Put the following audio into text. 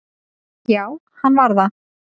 Já, hann var það